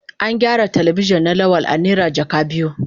An gyaran Telebijin na Lawal a naira jaka biyu.